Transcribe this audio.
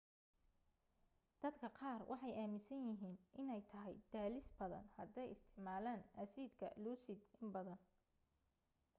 dadka qaar waxay aaminsanyihiin inay tahay daalis badan haday isticmaalaan assidka lucid in badan